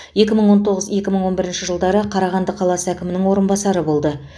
екі мың тоғыз екі мың он бірінші жылдары қарағанды қаласы әкімінің орынбасары болды